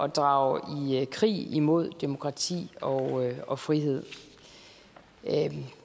drage i krig imod demokrati og og frihed